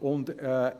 müsste.